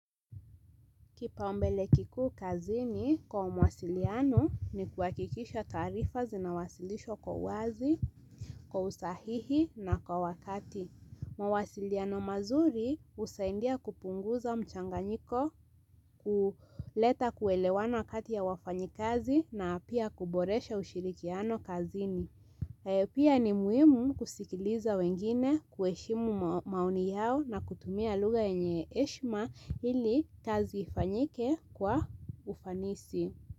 Kipao mbele kikuu kazini kwa mwasiliano ni kuakikisha taarifa zinawasilishwa kwa wazi, kwa usahihi na kwa wakati. Mawasiliano mazuri husaindia kupunguza mchanganyiko, ku leta kuelewana kati ya wafanyikazi na apia kuboresha ushirikiano kazini. Pia ni muhimu kusikiliza wengine, kuheshimu ma maoni yao na kutumia lugha yenye eshma ili kazi ifanyike kwa ufanisi.